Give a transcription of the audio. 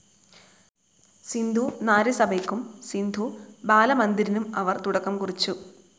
സിന്ധു നാരി സഭയ്ക്കും സിന്ധു ബാല മന്ദിരിനും അവർ തുടക്കം കുറിച്ചു.